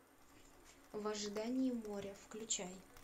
в ожидании моря включай